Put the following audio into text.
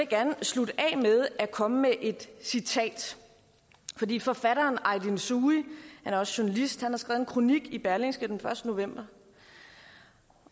gerne slutte af med at komme med et citat fordi forfatteren aydin soei han er også journalist har skrevet en kronik i berlingske den første november